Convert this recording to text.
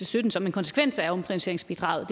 sytten som en konsekvens af omprioriteringsbidraget